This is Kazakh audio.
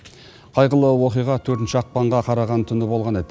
қайғылы оқиға төртінші ақпанға қараған түні болған еді